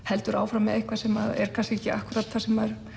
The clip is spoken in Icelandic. heldur áfram með eitthvað sem er kannski ekki akkúrat það sem